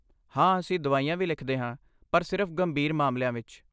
ਹਾਂ, ਅਸੀਂ ਦਵਾਈਆਂ ਵੀ ਲਿਖਦੇ ਹਾਂ, ਪਰ ਸਿਰਫ਼ ਗੰਭੀਰ ਮਾਮਲਿਆਂ ਵਿੱਚ।